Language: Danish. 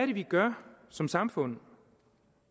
vi gør som samfund